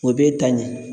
O b'e ta ɲin